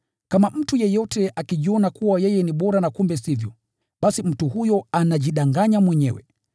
Kama mtu yeyote akijiona kuwa yeye ni bora na kumbe sivyo, basi mtu huyo anajidanganya mwenyewe.